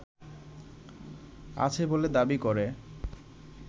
আছে বলে দাবি করে